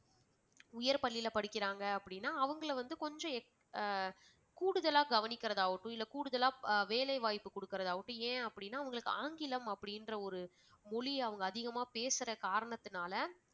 உயர் பள்ளியில படிக்கிறாங்க அப்படின்னா அவங்கள வந்து கொஞ்சம் அஹ் கூடுதலா கவனிக்கறதாவட்டும் இல்ல கூடுதலா வேலைவாய்ப்பு குடுக்கிறதா ஆவட்டும் ஏன் அப்படின்னா அவங்களுக்கு ஆங்கிலம் அப்படின்ற ஒரு மொழி அவங்க அதிகமா பேசுற காரணத்தினால